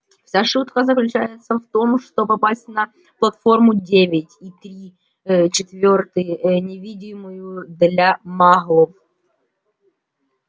вся штука заключается в том что попасть на платформу девять и три ээ четвёртый невидимую для маглов